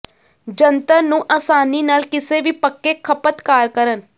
ਜੰਤਰ ਨੂੰ ਆਸਾਨੀ ਨਾਲ ਕਿਸੇ ਵੀ ਪੱਕੇ ਖਪਤਕਾਰ ਕਰਨ